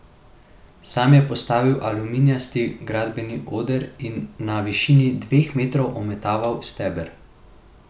Sam je postavil aluminijasti gradbeni oder in na višini dveh metrov ometaval steber.